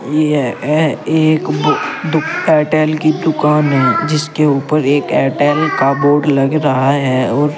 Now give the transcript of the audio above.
यह ए एक बू दु एयरटेल की दुकान है जिसके ऊपर एक एयरटेल का बोर्ड लग रहा है और --